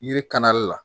Yiri kanli la